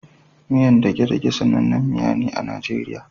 Miyar degedege sanannin miya ne a Nigeria